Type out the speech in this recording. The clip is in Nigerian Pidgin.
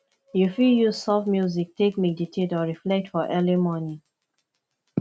you fit use soft music take meditate or reflect for early morning